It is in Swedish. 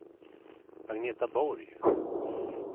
Agneta Borg